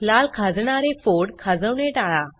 लाल खाजणारे फोड खाजवणे टाळा